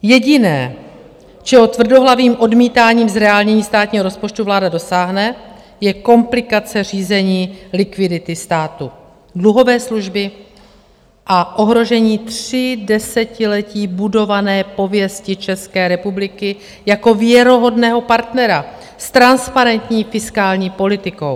Jediné, čeho tvrdohlavým odmítáním zreálnění státního rozpočtu vláda dosáhne, je komplikace řízení likvidity státu, dluhové služby a ohrožení tři desetiletí budované pověsti České republiky jako věrohodného partnera s transparentní fiskální politikou.